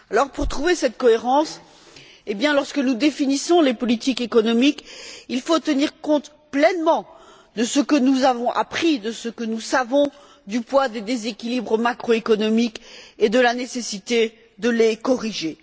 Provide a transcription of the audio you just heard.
Pour trouver cette cohérence, lorsque nous définissons les politiques économiques, il faut tenir compte pleinement de ce que nous avons appris, de ce que nous savons du poids des déséquilibres macroéconomiques et de la nécessité de les corriger.